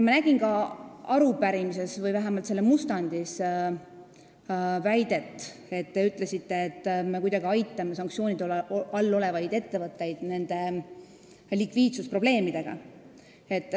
Ma nägin arupärimises või vähemalt selle mustandis väidet, nagu me kuidagi aitaksime sanktsioonide all olevaid ettevõtteid nende likviidsusprobleemide lahendamisel.